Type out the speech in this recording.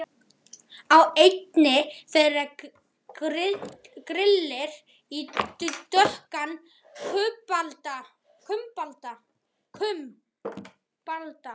Á einni þeirra grillir í dökkan kumbalda.